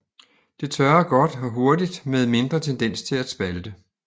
Det tørrer godt og hurtigt med mindre tendens til at spalte